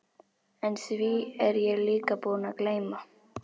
En því er ég líka búinn að gleyma.